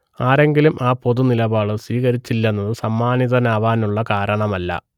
ആരെങ്കിലും ആ പൊതുനിലപാട് സ്വീകരിച്ചില്ലെന്നത് സമ്മാനിതനാവാനുള്ള കാരണമല്ല